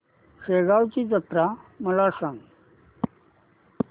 शेगांवची जत्रा मला सांग